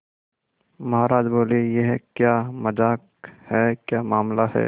महाराज बोले यह क्या मजाक है क्या मामला है